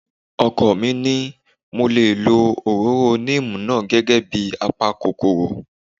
Ọkọ mi ní mo lè lo òróró èso níìmù náà gẹ́gẹ́ bíi a pa kòkòrò